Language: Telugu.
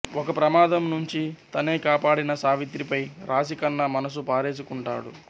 ఒక ప్రమాదం నుంచి తనే కాపాడిన సావిత్రిపై రాశి ఖన్నా మనసు పారేసుకుంటాడు